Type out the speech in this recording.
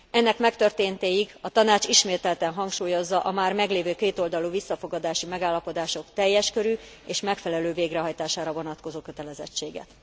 Ennek megtörténtéig a Tanács ismételten hangsúlyozza a már meglévő kétoldalú visszafogadási megállapodások teljes körű és megfelelő végrehajtására vonatkozó kötelezettséget.